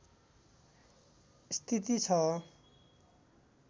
स्थिति छ